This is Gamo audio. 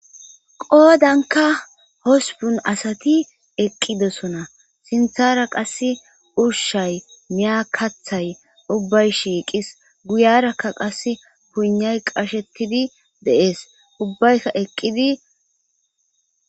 qoodanka hospun asati eqqidosona sinthara qas ushshay miyakathay ubbay shiiqis guyarakka qas punay qashettidi deees ubbaykka eqqidi